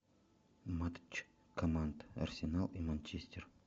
матч команд арсенал и манчестер